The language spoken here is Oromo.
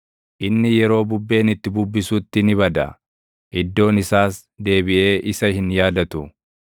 inni yeroo bubbeen itti bubbisutti ni bada; iddoon isaas deebiʼee isa hin yaadatu.